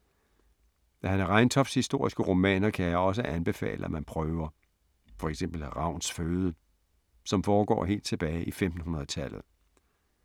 Hanne Reintofts historiske romaner kan jeg også anbefale at man prøver. For eksempel Ravns føde, som foregår helt tilbage i 1500-tallet.